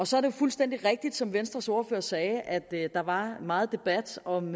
så er det fuldstændig rigtigt som venstres ordfører sagde at der var meget debat om